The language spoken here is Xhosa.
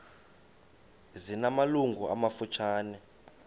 zina malungu amafutshane